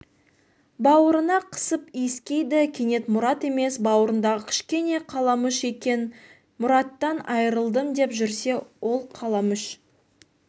баурына қысып иіскейді кенет мұрат емес бауырындағы кішкене қаламүш екен мұраттан айырылдым деп жүрсе ол қаламүш